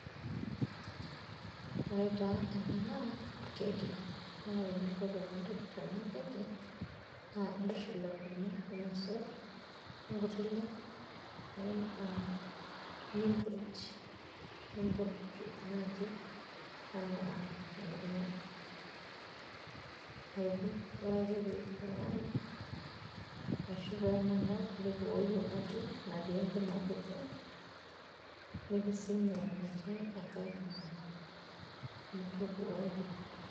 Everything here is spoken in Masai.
ore taa ena naa keki naa ore eninko tenintobir ena keki naa intushul enkurma ormosor onkuti le, nimpurj naaji, anaa enkurma ore ake pee ibungayu ashu pee enanau, nibukokoki emoti antii enkima kiti. nipising emoti, nipising enatii enkae kima.